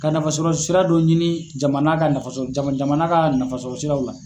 Ka nafa sɔrɔ sira don ɲini jamana ka nafa sɔrɔ jamana ka nafa sɔrɔ siraw la.